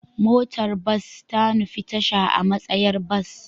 Motar bas ta nufi tasha a matsayar bas.